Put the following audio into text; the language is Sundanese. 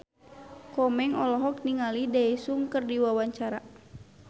Komeng olohok ningali Daesung keur diwawancara